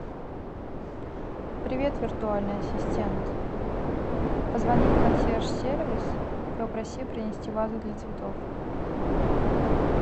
привет виртуальный ассистент позвони в консьерж сервис попроси принести вазу для цветов